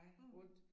Mh